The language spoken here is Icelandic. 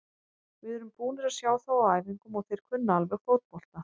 Við erum búnir að sjá þá á æfingum og þeir kunna alveg fótbolta.